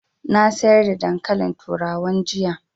Na sayar da dankalin turawan jiya